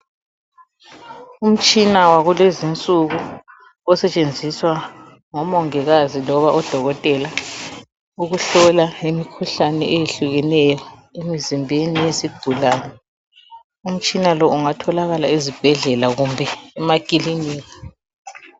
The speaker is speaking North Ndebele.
Umtshina wakulezinsuku osetshenziswa ngomongikazi loba odokotela ukuhlola imikhuhlane eyehlukeneyo emzimbeni wezigulane. Umtshina lo ungatholakala ezibhedlela kumbe emakilinika.